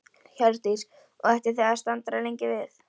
Hjördís: Og ætlið þið að staldra lengi við?